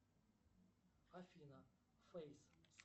афина фейс